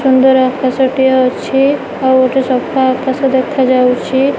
ସୁନ୍ଦର ଆକାଶ ଟିଏ ଅଛି ଆଉ ଗୋଟେ ସଫା ଆକାଶ ଦେଖାଯାଉଛି।